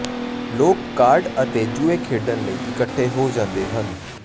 ਲੋਕ ਕਾਰਡ ਅਤੇ ਜੂਏ ਖੇਡਣ ਲਈ ਇਕੱਠੇ ਹੋ ਜਾਂਦੇ ਹਨ